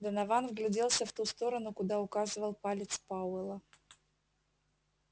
донован вгляделся в ту сторону куда указывал палец пауэлла